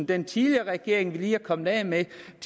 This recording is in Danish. den tidligere regering som vi lige er kommet af med